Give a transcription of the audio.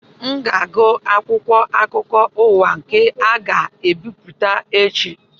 M ga-agụ akwụkwọ akụkọ ụwa nke a ga-ebipụta echi